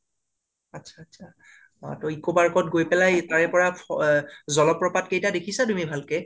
আছা আছা ! তৌ eco park ত গৈ পেলাই, তাৰে পৰা অ জলপ্ৰপাত কেইতা দেখিছা তুমি ভালকে?